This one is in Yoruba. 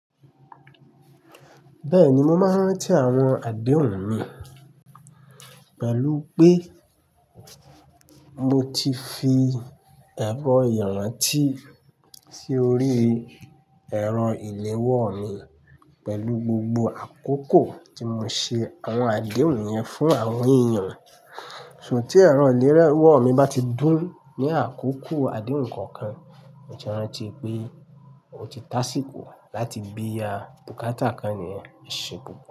Bẹ́ẹ̀ni, mo máa ń rántí àwọn àdéhùn mi pẹ̀lú pé mo ti fi ẹ̀rọ ìrántí sí orí ẹ̀rọ ìléwọ́ mi pẹ̀lú gbogbo àkókò tí mo ṣe àwọn àdéhùn yẹn fún àwọn èeyan. Ṣùgbọ́n tí ẹ̀rọ ìléwọ́ mi bá ti dún ní àkókò àdéhùn kankan, mo ti ranti pé ó ti tásíko láti bí ra bukátà kan ni yẹn. Eṣe pupo.